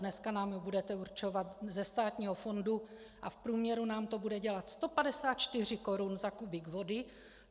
Dneska nám ji budete určovat ze státního fondu a v průměru nám to bude dělat 154 korun za kubík vody.